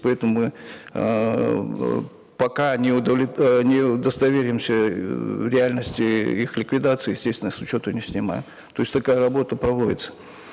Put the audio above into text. поэтому мы эээ пока не э не удостоверимся в реальности их ликвидации естественно с учета не снимаем то есть такая работа проводится